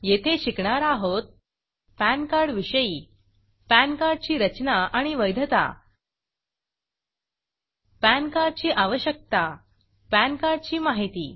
येथे शिकणार आहोत पॅन कार्ड विषयी पॅन कार्ड ची रचना आणि वैधता पॅन कार्ड ची आवश्यकता पॅन कार्ड ची माहिती